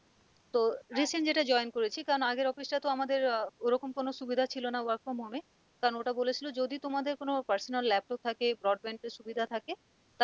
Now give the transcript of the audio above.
তো recent যেটা join করেছি কারণ আগের office টা তো আমাদের আহ ওরকম কোন সুবিধা ছিল না work from home এ কারণ ওটা বলেছিল যদি তোমাদের কোনও personal laptop থাকে brand band এর সুবিধা থাকে